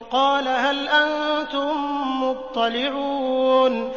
قَالَ هَلْ أَنتُم مُّطَّلِعُونَ